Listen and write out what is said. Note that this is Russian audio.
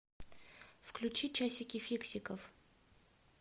включи часики фиксиков